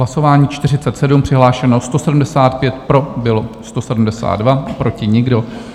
Hlasování 47, přihlášeno 175, pro bylo 172, proti nikdo.